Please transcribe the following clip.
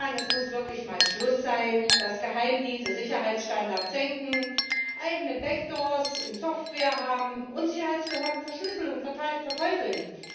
Es muss wirklich mal Schluss sein, dass Geheimdienste Sicherheitsstandards senken, eigene Backdoors in Software haben und Sicherheitsbehörden Verschlüsselung verteufeln.